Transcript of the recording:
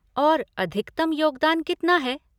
और अधिकतम योगदान कितना है?